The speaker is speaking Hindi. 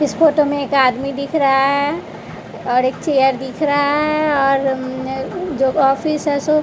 इस फोटो में एक आदमी दिख रहा है और एक चेयर दिख रहा है और अं जो ऑफिस है सो--